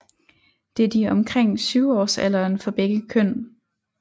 Det er de omkring 7 årsalderen for begge køn